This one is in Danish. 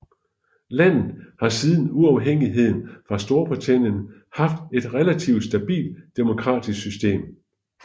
Landet har siden uafhængigheden fra Storbritannien haft et relativt stabilt demokratisk system